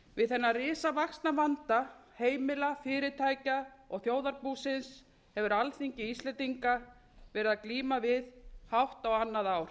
við þennan risavaxna vanda heimila fyrirtækja og þjóðarbúsins hefur alþingi íslendinga verið að glíma við hátt á annað ár